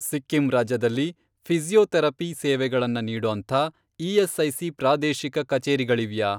ಸಿಕ್ಕಿಂ ರಾಜ್ಯದಲ್ಲಿ ಫಿ಼ಸಿಯೋಥೆರಪಿ ಸೇವೆಗಳನ್ನ ನೀಡೋಂಥ ಇ.ಎಸ್.ಐ.ಸಿ. ಪ್ರಾದೇಶಿಕ ಕಚೇರಿಗಳಿವ್ಯಾ?